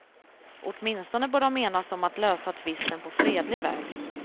Åtminstone bör de enas om att lösa tvisten på fredlig väg.